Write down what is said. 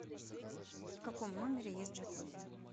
в каком номере есть джакузи